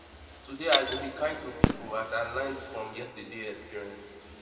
today i go be kind to people as i learned from yesterdays experience